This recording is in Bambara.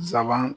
Nsaban